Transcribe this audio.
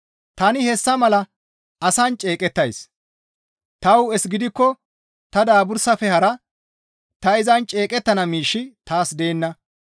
Tani hessa mala asan ceeqettays; ta hu7es gidikko ta daabursafe hara ta izan ceeqettana miishshi taas deenna.